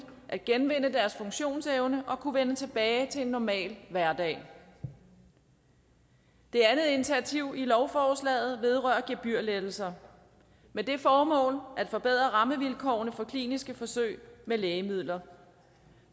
at genvinde deres funktionsevne og kunne vende tilbage til en normal hverdag det andet initiativ i lovforslaget vedrører gebyrlettelser med det formål at forbedre rammevilkårene for kliniske forsøg med lægemidler